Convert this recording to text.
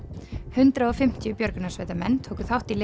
hundrað og fimmtíu björgunarsveitarmenn tóku þátt í